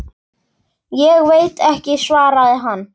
Ég veit ekki, svaraði hann.